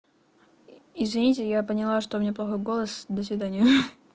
извините я поняла что мне плохой голос до свидания